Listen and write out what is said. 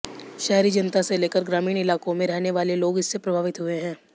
शहरी जनता से लेकर ग्रामीण इलाकों में रहने वाले लोग इससे प्रभावित हुए हैं